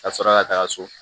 Ka sɔrɔ ka taga so